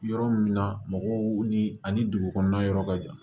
Yɔrɔ min na mɔgɔw ni ani dugu kɔnɔna yɔrɔ ka jan